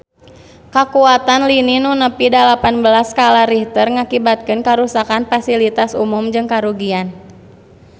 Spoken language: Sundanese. Kakuatan lini nu nepi dalapan belas skala Richter ngakibatkeun karuksakan pasilitas umum jeung karugian harta banda nepi ka 10 juta rupiah